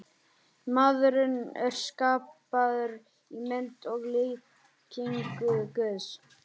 Maðurinn er skapaður í mynd og líkingu Guðs.